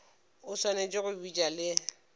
o swanetše go bitša le